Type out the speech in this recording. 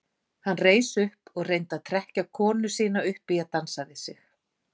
Hann reis upp og reyndi að trekkja konu sína upp í að dansa við sig.